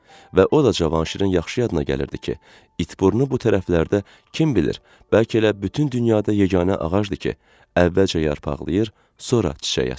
Və o da Cavanşirin yaxşı yadına gəlirdi ki, it burnu bu tərəflərdə kim bilir, bəlkə elə bütün dünyada yeganə ağacdır ki, əvvəlcə yarpaqlayır, sonra çiçək açır.